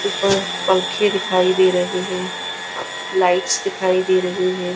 उपर पंखे दिखाई दे रहे है लाइट्स दिखाई दे रही है।